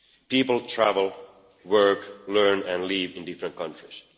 People travel, work, learn and live in different countries.